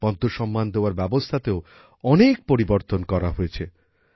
পদ্মসম্মান দেওয়ার ব্যবস্থাতেও অনেক পরিবর্তন করা হয়েছে